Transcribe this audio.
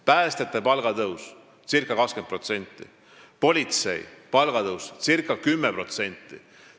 Päästjate palgatõus circa 20%, politsei palgatõus circa 10%.